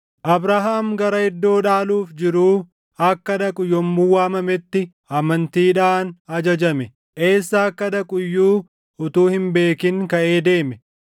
Abrahaam gara iddoo dhaaluuf jiruu akka dhaqu yommuu waamametti, amantiidhaan ajajame; eessa akka dhaqu iyyuu utuu hin beekin kaʼee deeme.